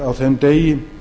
á þeim degi